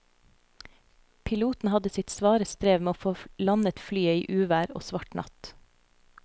Piloten hadde sitt svare strev med å få landet flyet i uvær og svart natt.